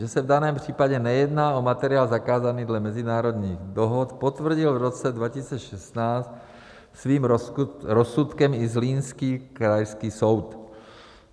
Že se v daném případě nejedná o materiál zakázaný dle mezinárodních dohod, potvrdil v roce 2016 svým rozsudkem i zlínský Krajský soud.